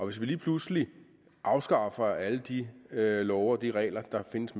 vi lige pludselig afskaffer alle de love og de regler der findes